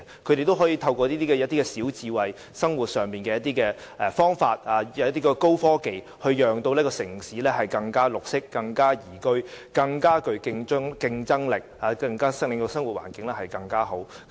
他們透過小智慧、生活上的方法及高科技，令城市更綠色、更宜居、更具競爭力，令生活環境更好。